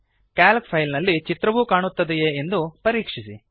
Calc file ನಲ್ಲಿ ಚಿತ್ರವೂ ಕಾಣುತ್ತದೆಯೇ ಎಂದು ಪರೀಕ್ಷಿಸಿ